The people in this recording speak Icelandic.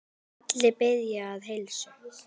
Allir biðja að heilsa.